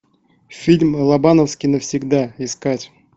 фильм лобановский навсегда искать